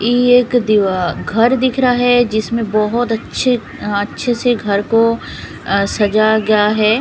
ये एक दिवा घर दिख रहा है जिसमें बहुत अच्छे अ अच्छे से घर को सजाया गया है।